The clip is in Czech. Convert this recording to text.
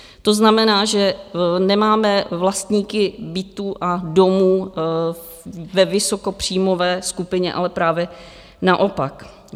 To znamená, že nemáme vlastníky bytů a domů ve vysokopříjmové skupině, ale právě naopak.